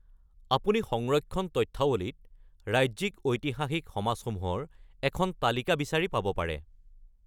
আপুনি সংৰক্ষণ তথ্যাৱলীত ৰাজ্যিক ঐতিহাসিক সমাজসমূহৰ এখন তালিকা বিচাৰি পাব পাৰে।